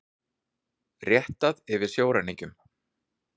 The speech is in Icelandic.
Réttað yfir sjóræningjum